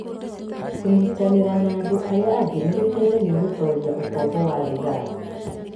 Kũnyitanĩra na andũ arĩa angĩ nĩ gũtũteithagia gũtooria ũkombo wa thigara.